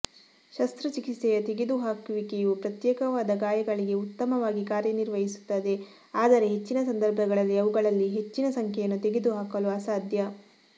ಶಸ್ತ್ರಚಿಕಿತ್ಸೆಯ ತೆಗೆದುಹಾಕುವಿಕೆಯು ಪ್ರತ್ಯೇಕವಾದ ಗಾಯಗಳಿಗೆ ಉತ್ತಮವಾಗಿ ಕಾರ್ಯನಿರ್ವಹಿಸುತ್ತದೆ ಆದರೆ ಹೆಚ್ಚಿನ ಸಂದರ್ಭಗಳಲ್ಲಿ ಅವುಗಳಲ್ಲಿ ಹೆಚ್ಚಿನ ಸಂಖ್ಯೆಯನ್ನು ತೆಗೆದುಹಾಕಲು ಅಸಾಧ್ಯ